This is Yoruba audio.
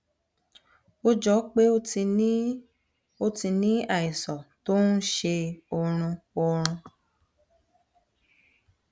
ó jọ pé o ti ní o ti ní àìsàn tó ń ṣe ọrùn ọrùn